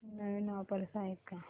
नवीन offers आहेत का